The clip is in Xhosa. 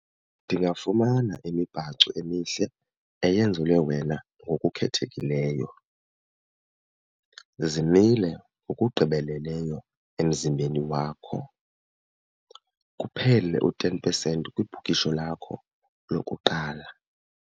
Ndingafumana imibhaco emihle eyenzelwe wena ngokukhethekileyo, zimile ngokugqibeleleyo emzimbeni wakho, kuphele u-ten percent kwibhukisho lakho lokuqala.